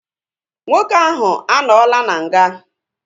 Nwoke ahu anọọla n'nga